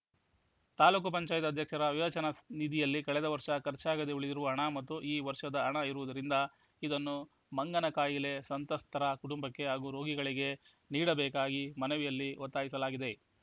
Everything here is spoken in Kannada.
ತಾಲೂಕ್ ಪಂಚಾಯತಿ ಅಧ್ಯಕ್ಷರ ವಿವೇಚನಾ ನಿಧಿಯಲ್ಲಿ ಕಳೆದ ವರ್ಷ ಖರ್ಚಾಗದೆ ಉಳಿದಿರುವ ಹಣ ಮತ್ತು ಈ ವರ್ಷದ ಹಣ ಇರುವುದರಿಂದ ಇದನ್ನು ಮಂಗನಕಾಯಿಲೆ ಸಂತ್ರಸ್ತ ಕುಟುಂಬಕ್ಕೆ ಹಾಗೂ ರೋಗಿಗಳಿಗೆ ನೀಡಬೇಕಾಗಿ ಮನವಿಯಲ್ಲಿ ಒತ್ತಾಯಿಸಲಾಗಿದೆ